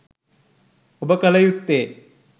ඔබ කළ යුත්තේ